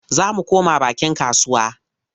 Za mu koma bakin kasuwa.